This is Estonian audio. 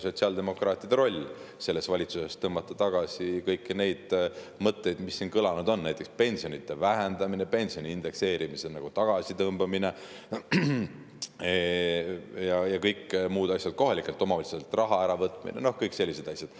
Sotsiaaldemokraatide roll selles valitsuses ongi tõmmata tagasi kõiki neid mõtteid, mis siin kõlanud on: pensionide vähendamine, pensioni indekseerimise tagasitõmbamine, kohalikelt omavalitsustelt raha äravõtmine, kõik sellised asjad.